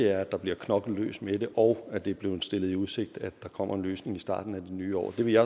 at der bliver knoklet løs med det og at det er blevet stillet i udsigt at der kommer en løsning i starten af det nye år det vil jeg